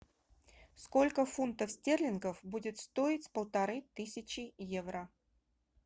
сколько фунтов стерлингов будет стоить полторы тысячи евро